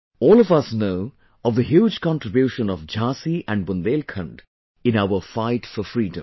All of us know of the huge contribution of Jhansi and Bundelkhand in our Fight for Freedom